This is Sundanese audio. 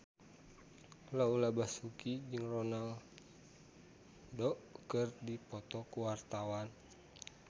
Laura Basuki jeung Ronaldo keur dipoto ku wartawan